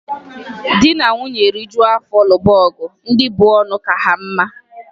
Di na nwunye rijuo afọ lụba ọgụ, ndị bu ọnụ aka ha mma.